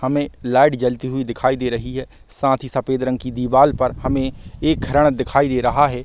हमे लाइट जलती हुई दिखाई दे रही हैसाथ ही सफ़ेद रंग की दीवाल पर हमे एक हिरण दिखाई दे रहा है।